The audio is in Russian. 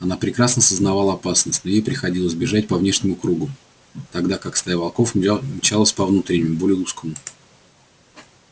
она прекрасно сознавала опасность но ей приходилось бежать по внешнему кругу тогда как стая волков мчалась по внутреннему более узкому